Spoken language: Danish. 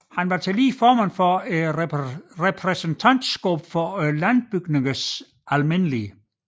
Han var tillige formand for repræsentantskabet for Landbygningernes alm